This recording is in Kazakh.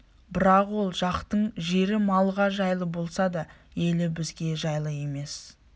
бірақ ол жақтың жері малға жайлы болса да елі бізге жайлы емес